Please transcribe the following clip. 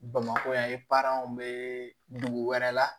Bamakɔ yan bɛ dugu wɛrɛ la